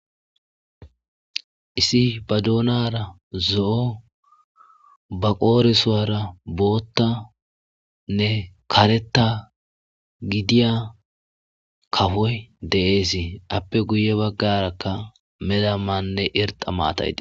Issi ba duunara zo,o ba qoorisoara bootta nne kareta gidiya kafoy deeesii appe guye baggarakka meda manne irxa maatayi.